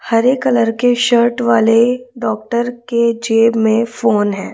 हरे colour के shirt वाले doctor के जेब में फोन है।